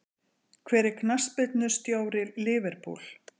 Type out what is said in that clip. Hver er knattspyrnustjóri Liverpool?